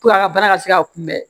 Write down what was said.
a ka baara ka se ka kunbɛn